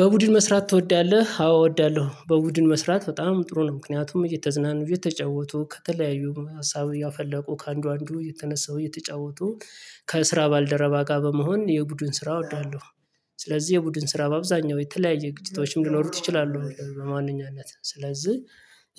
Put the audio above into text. በቡድን መስራት ትወዳለህ? አዎ እወዳለሁ በቡድን መስራት በጣም ጥሩ ነው ምክንያቱም እየተዝናኑ እየተጫወቱ ከተለያዩ ሀሳብ እያፈለቁ ከአንዱ አንዱ እየተነሳው እየተጫወቱ ከስራ ባልደረባ ጋር በመሆን የቡድን ስራ እወደለሁ። ስለዚህ የቡድን ስራ በአብዛኛው የተለያየ ግጭቶችም ሊኖሩት ይችላሉ በማንኛነት ስለዚህ።